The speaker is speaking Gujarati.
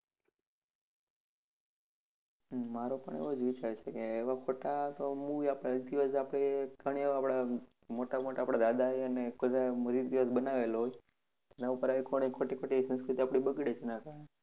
હમ મારો પણ એવો જ વિચાર છે કે એવા ખોટા તો movie આપડે ઘણી વાર આપડા મોટા મોટા આપડા દાદાએને બધાએ બનાવેલા હોય અને એની ઉપર આવી ખોટેખોટી સંસ્કૃતિ બગડી જ નાખે